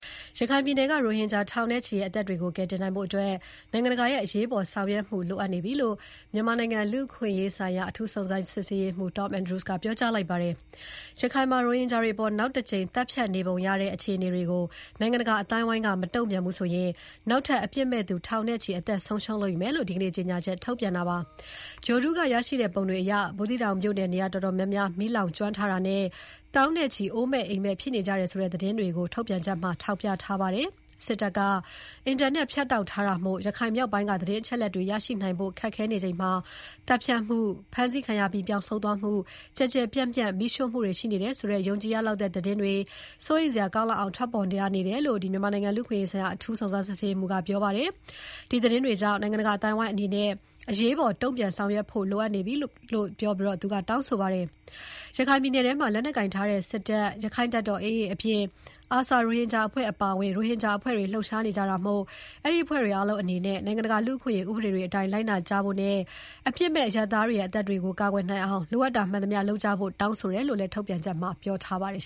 ရခိုင်ပြည်နယ်က ရိုဟင်ဂျာ ထောင်နဲ့ချီရဲ့ အသက်တွေကို ကယ်တင်နိုင်ဖို့ နိုင်ငံတကာရဲ့ အရေးပေါ်ဆောင်ရွက်မှု လိုအပ်နေပြီလို့ မြန်မာနိုင်ငံ လူ့အခွင့်အရေးဆိုင်ရာ အထူးစုံစမ်းရေးမှူး Tom Andrews ကပြောကြားလိုက်ပါတယ်။ ရခိုင်မှာ ရိုဟင်ဂျာတွေအပေါ် နောက်တကြိမ် သတ်ဖြတ်နေပုံရတဲ့ အခြေအနေတွေကို နိုင်ငံတကာအသိုင်းအဝိုင်းက မတုံ့ပြန်ဘူးဆိုရင် နောက်ထပ် အပြစ်မဲ့သူ ထောင်နဲ့ချီ အသက်ဆုံးရှုံးလိမ့်မယ်လို့ ဒီနေ့ ကြေညာချက် ထုတ်ပြန်တာဖြစ်ပါတယ်။ ဂြိုလ်တုက ရတဲ့ ပုံတွေအရ ဘူးသီးတောင်မြို့နယ် နေရာတော်တော်များများ မီးလောင်ကျွမ်းထားတာနဲ့ သောင်းနဲ့ချီ အိုးအိမ်မဲ့ ဖြစ်နေကြတယ်ဆိုတဲ့ သတင်းတွေကို ထုတ်ပြန်ချက်မှာ ထောက်ပြထားပါတယ်။ စစ်တပ်က အင်တာနက်ဖြတ်တောက်ထားတာမို့ ရခိုင်မြောက်ပိုင်းက သတင်းအချက်အလက်တွေရရှိနိုင်ဖို့ ခက်ခဲနေချိန်မှာ သတ်ဖြတ်မှု၊ ဖမ်းဆီးခံရပြီးပျောက်ဆုံးသွားမှု၊ ကျယ်ကျယ်ပြန့်ပြန့် မီးရှို့မှုတွေရှိနေတယ်ဆိုတဲ့ ယုံကြည်ရလောက်တဲ့ သတင်းတွေ စိုးရိမ်စရာကောင်းလောက်အောင် ထွက်ပေါ်လာနေတယ်လို့ မြန်မာနိုင်ငံ လူ့အခွင့်အရေးဆိုင်ရာ အထူးစုံစမ်ရေးမှူး Tom Andrews ကပြောပါတယ်။ ဒီသတင်းတွေကြောင့် နိုင်ငံတကာအသိုင်းအဝိုင်းအနေနဲ့ အရေးပေါ် တုံ့ပြန်ဆောင်ရွက်ဖို့ လိုအပ်နေပြီလို့ သူကတောင်းဆိုပါတယ်။ ရခိုင်ပြည်နယ်ထဲမှာ လက်နက်ကိုင်ထားတဲ့ စစ်တပ်၊ အာရက္ခတပ်တော် AA အပြင် ARSA ရိုဟင်ဂျာအဖွဲ့အပါအဝင် ရိုဟင်ဂျာအဖွဲ့တွေ လှုပ်ရှားနေကြတာမို့ အဲဒီအဖွဲ့တွေအားလုံးအနေနဲ့ နိုင်ငံတကာ လူ့အခွင့်အရေးဥပဒေတွေအတိုင်း လိုက်နာကြဖို့နဲ့ အပြစ်မဲ့အရပ်သားတွေရဲ့ အသက်တွေကို ကာကွယ်နိုင်အောင် လိုအပ်တာမှန်သမျှလုပ်ကြဖို့ တောင်းဆိုတယ်လို့လည်း ထုတ်ပြန်ချက်မှာ ပြောထားပါတယ်